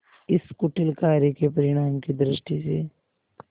इस कुटिल कार्य के परिणाम की दृष्टि से